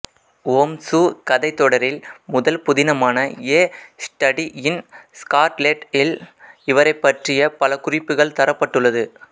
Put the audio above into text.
ஓம்சு கதைத்தொடரின் முதல் புதினமான எ ஸ்டடி இன் ஸ்கார்லெட் இல் அவரைப் பற்றிய பல குறிப்புகள் தரப்பட்டுள்ளன